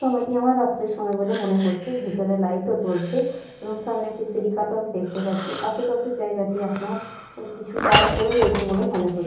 সময়টি আমার রাত্রের সময় বলে মনে হচ্ছে। ভেতরে লাইট ও জ্বলছে এবং সামনে একটি সিঁড়ি কাঠও আমি দেখতে পাচ্ছি। আসে পাশে জায়গাটি আপনার কিছু তার পড়ে রয়েছে বলে মনে হচ্--